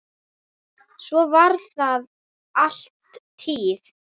Svo var það alla tíð.